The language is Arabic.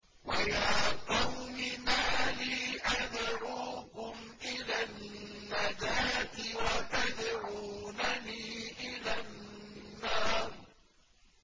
۞ وَيَا قَوْمِ مَا لِي أَدْعُوكُمْ إِلَى النَّجَاةِ وَتَدْعُونَنِي إِلَى النَّارِ